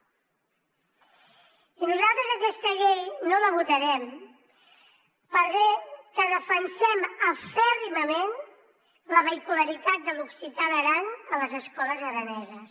i nosaltres aquesta llei no la votarem per bé que defensem acèrrimament la vehicularitat de l’occità d’aran a les escoles araneses